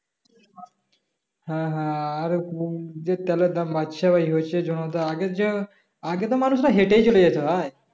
হ্যাঁ হ্যাঁ কোন আর যে তেলের দাম বাড়ছে ভাই হয়েছে জনতা আগের যে আগে তো মানুষরা হেঁটেই চলে যেত ভাই